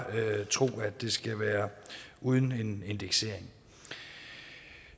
tro at det skal være uden en indeksering